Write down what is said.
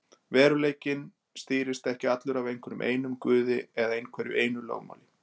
Veruleikinn stýrist ekki allur af einhverjum einum guði eða einhverju einu lögmáli.